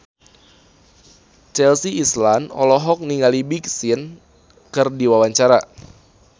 Chelsea Islan olohok ningali Big Sean keur diwawancara